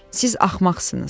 Siz axmaqsınız.